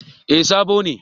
Eh sabo ne